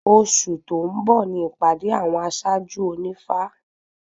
Oṣù tó ń bọ̀ ni ìpàdé àwọn aṣáájú ònífá